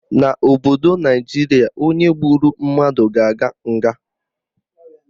N'obodo Naijiria, onye gburu mmadụ ga-aga nga